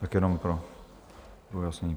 Tak jenom pro ujasnění.